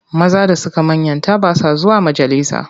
Maza da suka manyanta ba sa zuwa majalisa.